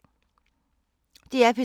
DR P3